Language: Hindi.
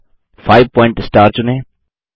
अब 5 पॉइंट स्टार चुनें